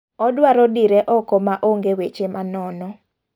Odwaro dire oko ma onge' weche ma nono.